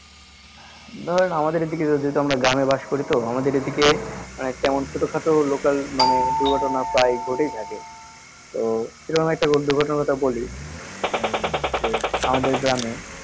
ধরেন আমাদের এদিকে গ্রামে বাস করিতো আমাদের এদিকে মানে কেমন ছোট খাটো local মানে দূর্ঘটনা প্রায় ঘটেই থাকে তো সেরকম একটা দূর্ঘটনার কথা বলি আহ যে আমাদের গ্রামে